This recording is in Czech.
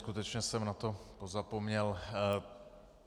Skutečně jsem na to pozapomněl.